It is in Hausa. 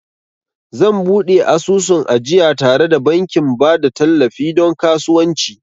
Zan buɗe asusun ajiya tare da bankin ba da tallafi don kasuwanci